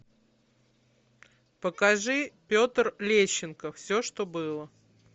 покажи петр лещенко все что было